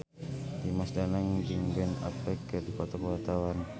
Dimas Danang jeung Ben Affleck keur dipoto ku wartawan